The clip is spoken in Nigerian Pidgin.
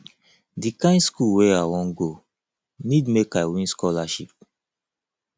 di kind skool wey i wan go need make i win scholarship